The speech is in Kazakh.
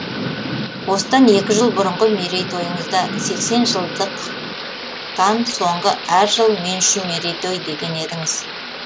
осыдан екі жыл бұрынғы мерейтойыңызда сексен жылдықдан соңғы әрі жыл мен үшін мерейтой деген едіңіз